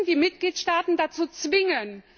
Wir müssen die Mitgliedstaaten dazu zwingen.